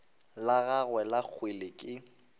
la gagwe la kgwele ke